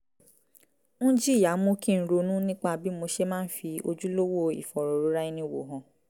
ń jìyà mú kí n ronú nípa bí mo ṣe máa ń fi ojúlówó ìfọ̀rọ̀rora-ẹni-wò hàn